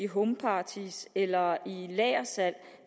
homeparties eller lagersalg